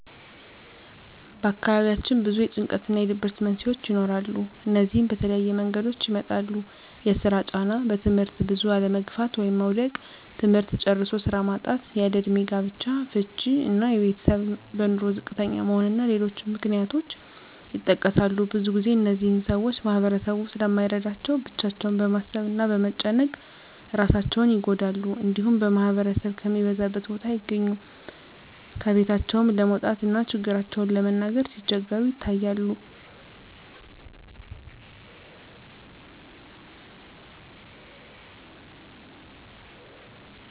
በአካባቢያችን ብዙ የጭንቀት እና የድብርት መንስሄዎች ይኖራሉ። እነዚህም በተለያየ መንገዶች ይመጣሉ የስራ ጫና; በትምህርት ብዙ አለመግፋት (መዉደቅ); ትምህርት ጨርሶ ስራ ማጣት; ያለእድሜ ጋብቻ; ፍች እና የቤተሰብ በኑሮ ዝቅተኛ መሆን እና ሌሎችም ምክንያቶች ይጠቀሳሉ። ብዙ ግዜ እነዚህን ሰወች ማህበረሰቡ ስለማይረዳቸው ብቻቸውን በማሰብ እና በመጨነቅ እራሳቸውን ይጎዳሉ። እንዲሁም ማህበረሰብ ከሚበዛበት ቦታ አይገኙም። ከቤታቸውም ለመውጣት እና ችግራቸውን ለመናገር ሲቸገሩ ይታያሉ።